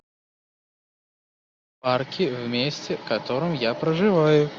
парки в месте в котором я проживаю